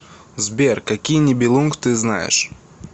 сбер какие нибелунг ты знаешь